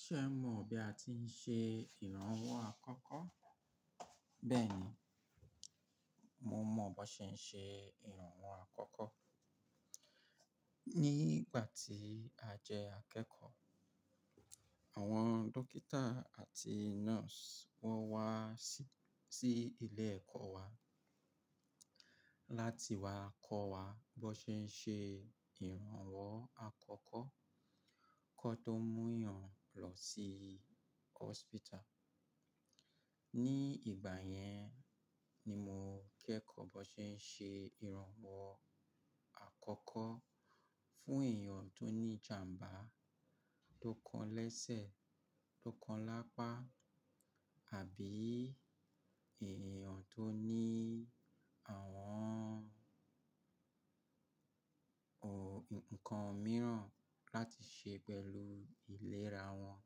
Ṣé o mọ̀ bí a ti ń ṣe ìrànwọ́ àkọ́kọ́? Bẹ́ẹ̀ni, mo mọ̀ bó ṣe ń ṣe ìrànwọ́ àkọ́kọ́. Ní ìgbà tí a jẹ akẹ́kọ̀ọ́, àwọn dókítà àti nọ́ọ̀sì wọ́n wá sí, sí ilé ẹ̀kọ́ wa láti wá kọ́ wa bó ṣe ń ṣe ìrànwọ́ àkọ́kọ́ kí wọ́n tó mú èèyàn lọ sí hospital. Ní ìgbà yẹn ni mo kẹ́kọ̀ọ́ bó ṣe ń ṣe ìrànwọ́ àkọ́kọ́ fún èèyàn tó ní ìjàmbá, tó kan lẹ́sẹ̀, tó kan lápá àbí èèyàn tó ní àwọn ò-- ǹkan mìíràn láti ṣe pẹ̀lú ìlera wọn.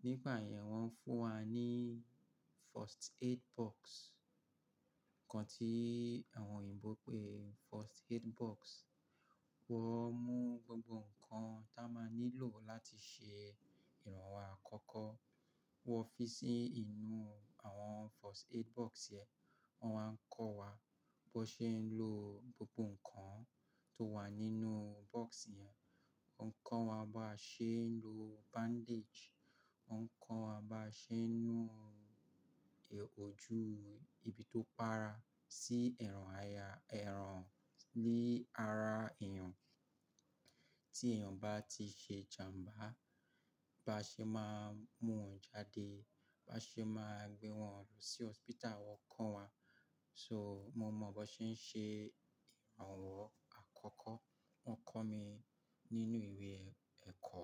Ní ìgbà yẹn wọ́n ń fún wa ní first aid box, ǹkan tí àwọn òyìnbó ń pè first aid box. Wọ́n mú gbogbo ǹkan tí a máa nílò láti ṣe ìrànwọ́ àkọ́kọ́, wọ́n fi sí inú àwọn first aid box yẹn. Wọ́n máa ń kọ́ wa bó ṣe ń lò gbogbo ǹkan tó wà nínú box yẹn. Wọ́n ń kọ́ wa bá ṣe ń lo bandage, wọ́n ń kọ́ wa bá ṣe ń nu òjù ibi tó para, sí ẹran aya-- ẹran lé ara èèyàn. Tí èèyàn bá ti ṣe ìjàmbá bá ṣe máa mú òun jáde, bá ṣe máa gbé wọn lọ sí hospital, wọ́n kọ́ wa. So, mo mọ bó ṣe ń ṣe ìrànwọ́ àkọ́kọ́. Wọ́n kọ mí nínú ìwé ẹ̀-ẹ̀kọ́.